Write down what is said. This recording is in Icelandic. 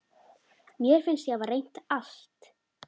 Mér fannst ég hafa reynt allt.